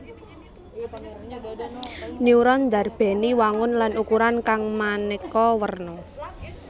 Neuron ndarbèni wangun lan ukuran kang manéka werna